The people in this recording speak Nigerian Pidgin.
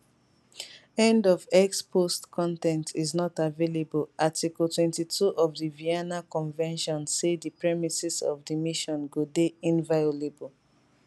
end of x post con ten t is not available article 22 of di vienna convention say di premises of di mission go dey inviolable